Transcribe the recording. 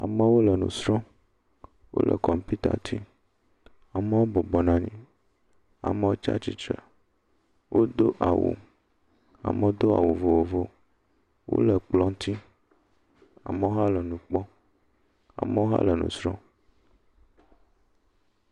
Amewo le nusrɔ̃m, wole kɔmpita dzi, amewo bɔbɔ nɔ anyi, amewo tsi atsitre, wodo awu amewo do awu vovovowo wole kplɔ ŋuti, amewo hã le nu kpɔm, amewo hã le nu srɔ̃m.